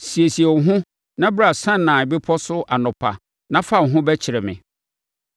Siesie wo ho na bra Sinai Bepɔ so anɔpa na fa wo ho bɛkyerɛ me.